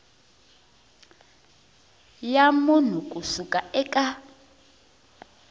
ya munhu ku suka eka